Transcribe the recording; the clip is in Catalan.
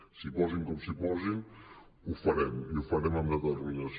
s’hi posin com s’hi posin ho farem i ho farem amb determinació